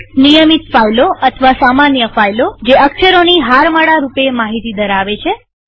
નિયમિત ફાઈલો અથવા સામાન્ય ફાઈલોજે અક્ષરોની હારમાળા રૂપે માહિતી ધરાવે છે